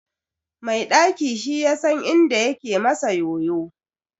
Mai ɗaki shi yasan inda yake masa yoyo.